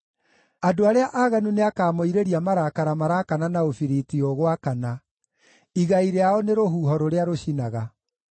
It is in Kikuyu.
Andũ arĩa aaganu nĩakamoirĩria marakara maraakana na ũbiriti ũgwakana; igai rĩao nĩ rũhuho rũrĩa rũcinaga.